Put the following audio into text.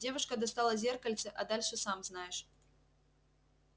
девушка достала зеркальце а дальше сам знаешь